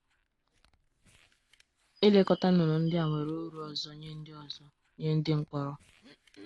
Ilekọta nnụnụ ndị a nwere ụrụ ọzọ nye ndị ọzọ nye ndị mkpọrọ.